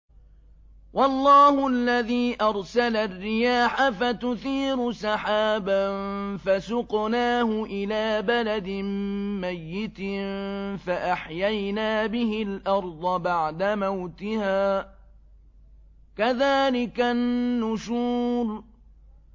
وَاللَّهُ الَّذِي أَرْسَلَ الرِّيَاحَ فَتُثِيرُ سَحَابًا فَسُقْنَاهُ إِلَىٰ بَلَدٍ مَّيِّتٍ فَأَحْيَيْنَا بِهِ الْأَرْضَ بَعْدَ مَوْتِهَا ۚ كَذَٰلِكَ النُّشُورُ